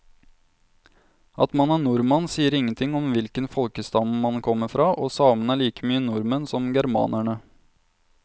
At man er nordmann sier ingenting om hvilken folkestamme man kommer fra, og samene er like mye nordmenn som germanerne.